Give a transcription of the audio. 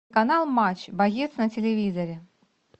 канал матч боец на телевизоре